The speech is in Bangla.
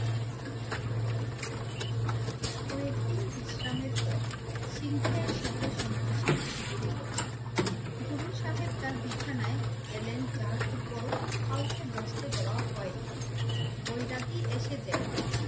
কয়েকদিন বিশ্রামের পর সিং শাহের সাথে সন্ন্যাসীর শিবিরে গেলেন। গুরু সাহেব তার বিছানায় যার উপর কাউকে বসতে দেওয়া হয় না। বৈরাগী এসে দেখলেন